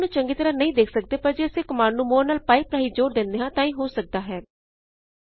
ਅਸੀ ਆਉਟਪੁਟ ਚੰਗੀ ਤਰਹ ਨਹੀਂ ਦੇਖ ਸਕਦੇ ਪਰ ਜੇ ਅਸੀ ਇਸ ਕਮਾਂਡ ਨੂੰ ਮੋਰੇ ਨਾਲ ਪਾਈਪ ਥਾਹੀਂ ਜੋੜ ਦਿੰਦੇ ਹਾਂ ਤਾਂ ਇਹ ਹੋ ਸਕਦਾ ਹੈ